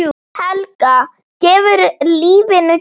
Helga: Gefur lífinu gildi?